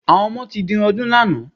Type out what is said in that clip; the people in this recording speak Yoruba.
Àwọn ọmọ ti dirun ọdún lánàá.